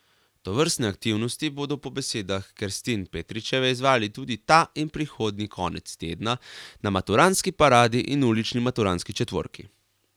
Tovrstne aktivnosti bodo po besedah Kerstin Petričeve izvajali tudi ta in prihodnji konec tedna na maturantski paradi in ulični maturantski četvorki.